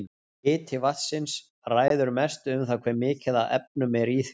Hiti vatnsins ræður mestu um það hve mikið af efnum er í því.